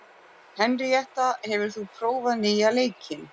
Henríetta, hefur þú prófað nýja leikinn?